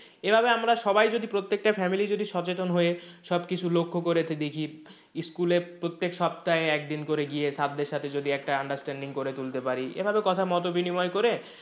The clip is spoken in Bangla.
এভাবে আমরা সবাই যদি প্রত্যেকটা family যদি সচেতন হয়ে সবকিছু লক্ষ্য করে দেখি school এ প্রত্যেক সপ্তাহ একদিন করে গিয়ে sir দের সাথে যদি একটা understanding করে তুলতে পারি এভাবে কথাও মত বিনিময় করে,